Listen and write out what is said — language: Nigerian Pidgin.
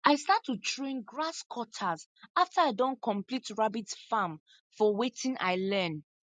i start to train grasscutters after i don complete rabbit farm from watin i learn